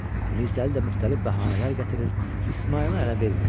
Mirzəli də müxtəlif bəhanələr gətirir, İsmayılı ələ vermirdi.